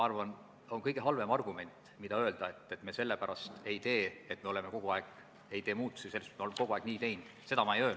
Aga artikli 13 lõikes 2 oli kehtestatud 21 000 euro suuruse ettemaksu kohustus, raudtee-ettevõtja peaks reisija surma korral maksma selle summa tema lähedastele.